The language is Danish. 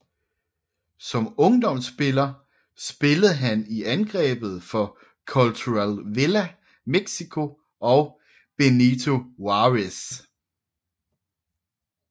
Som ungdomspiller spillede han i angrebet for Cultural Villa México og Benito Juárez